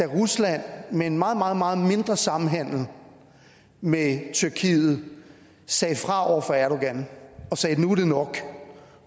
rusland med en meget meget meget mindre samhandel med tyrkiet sagde fra over for erdogan og sagde at nu er det nok